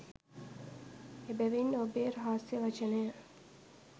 එබැවින් ඔබේ රහස්‍ය වචනය